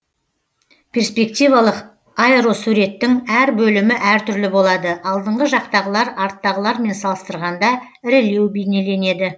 перспективалық аэросуреттің әр бөлімі әр түрлі болады алдыңғы жақтағылар арттағылармен салыстырғанда ірілеу бейнеленеді